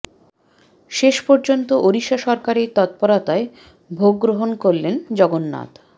শেষ পর্যন্ত ওড়িশা সরকারের তৎপরতায় ভোগ গ্রহন করলেন জগন্নাথ